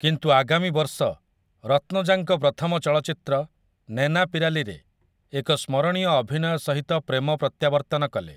କିନ୍ତୁ ଆଗାମୀ ବର୍ଷ, ରତ୍ନଜାଙ୍କ ପ୍ରଥମ ଚଳଚ୍ଚିତ୍ର 'ନେନାପିରାଲି' ରେ ଏକ ସ୍ମରଣୀୟ ଅଭିନୟ ସହିତ ପ୍ରେମ ପ୍ରତ୍ୟାବର୍ତ୍ତନ କଲେ ।